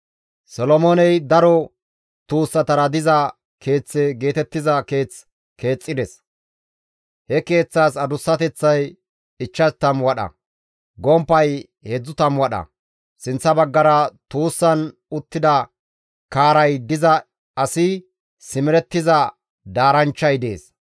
Solomooney daro tuussatara diza Keeththe geetettiza keeth keexxides; he keeththaas adussateththay 50 wadha, gomppay 30 wadha; sinththa baggara tuussan uttida kaaray diza asi simerettiza daaranchchay dees.